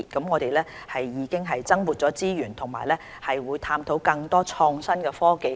我們已增撥資源和探討利用更多創新科技。